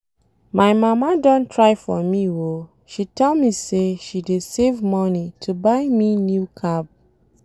My mama don try for me oo, she tell me say she dey save money to buy me new cab.